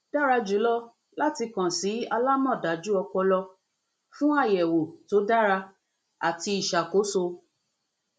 dara julọ lati kan si alamọdaju ọpọlọ fun ayẹwo to dara ati iṣakoso